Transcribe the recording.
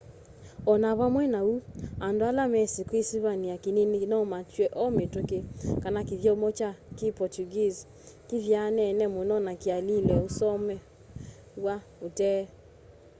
o na vamwe na uu and ala mesi kiisivania kinini nomatw'e o mituki kana kityomo kya ki portuguese kithyaanene muno na kiaililwe usomewa utee